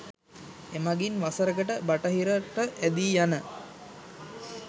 එමගින් වසරකට බටහිරට ඇදීයන